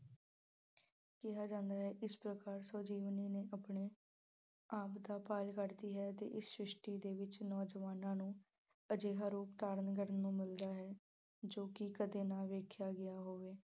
ਕਿਹਾ ਜਾਂਦਾ ਹੈ ਇਸ ਪ੍ਰਕਾਰ ਸਵੈ-ਜੀਵਨੀ ਨੂੰ ਆਪਣੇ ਆਪਦਾ ਕਰਦੀ ਹੈ ਅਤੇ ਸ਼੍ਰਿਸ਼ਟੀ ਵਿੱਚ ਨੌਜਵਾਨਾਂ ਨੂੰ ਅਜਿਹਾ ਰੂਪ ਧਾਰਨ ਕਰਨ ਨੂੰ ਮਿਲਦਾ ਹੈ ਜੋ ਕਿ ਕਦੇ ਦਾ ਦੇਖਿਆ ਗਿਆ ਹੋਵੇ।